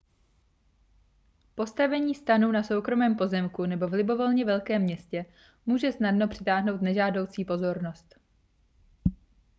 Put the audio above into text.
postavení stanu na soukromém pozemku nebo v libovolně velkém městě může snadno přitáhnout nežádoucí pozornost